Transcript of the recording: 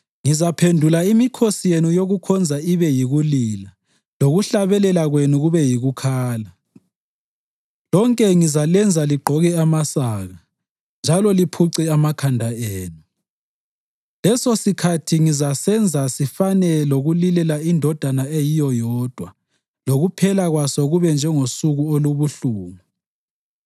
Ngizaphendula imikhosi yenu yokukhonza ibe yikulila lokuhlabelela kwenu konke kube yikukhala. Lonke ngizalenza ligqoke amasaka, njalo liphuce amakhanda enu. Lesosikhathi ngizasenza sifane lokulilela indodana eyiyo yodwa lokuphela kwaso kube njengosuku olubuhlungu.